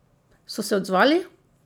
So se odzvali?